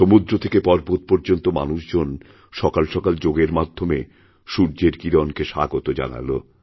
সমুদ্র থেকে পর্বত পর্যন্ত মানুষজন সকালসকাল যোগের মাধ্যমেসূর্যের কিরণকে স্বাগত জানাল